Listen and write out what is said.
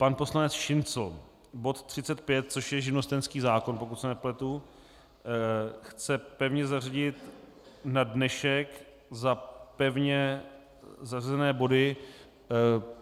Pan poslanec Šincl, bod 35, což je živnostenský zákon, pokud se nepletu, chce pevně zařadit na dnešek za pevně zařazené body.